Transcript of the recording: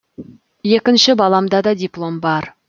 екінші баламда да диплом бар